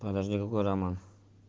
подожди какой роман